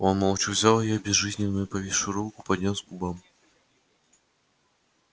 он молча взял её безжизненно повисшую руку поднёс к губам